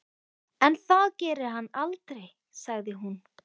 En það gerir hann aldrei, sagði hún.